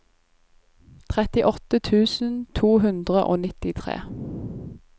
trettiåtte tusen to hundre og nittitre